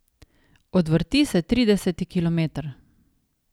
Odvrti se trideseti kilometer.